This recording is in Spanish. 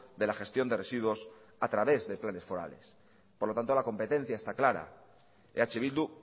de la gestión de residuos a través de planes forales por lo tanto la competencia está clara eh bildu